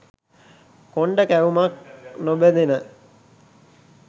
කොණ්ඩ කැවුමක් නොබැදෙන